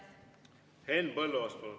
Henn Põlluaas, palun!